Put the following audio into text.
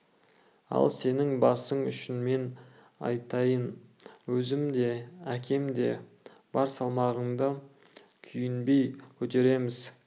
ал сенің басың үшін мен айтайын өзім де әкем де бар салмағыңды күйінбей көтереміз